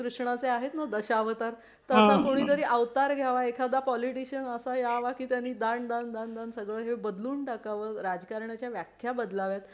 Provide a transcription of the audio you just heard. कृष्णा चे आहेत ना दशावतार तस कोणी तर अवतार घ्यावा एखादा पोलिटिशियन असा यावा की त्यांनी दाण दाण दाण सगळं हे बदलून टाकावं राजकारणा ची व्याख्या बदलावेत